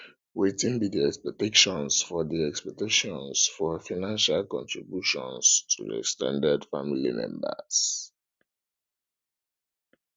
wetin be di expectations for di expectations for financial contributions to ex ten ded family members